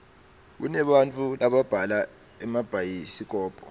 kunebantau lababhala emabhayisikobho